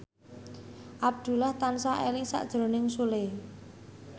Abdullah tansah eling sakjroning Sule